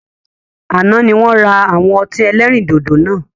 Àná ni wọn ra àwọn ọtí ẹlẹ́rìndòdò náà